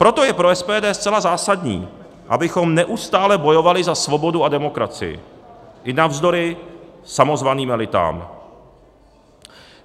Proto je pro SPD zcela zásadní, abychom neustále bojovali za svobodu a demokracii i navzdory samozvaným elitám.